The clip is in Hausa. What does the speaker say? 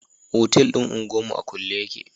Otel din unguwa mu a kulle yake.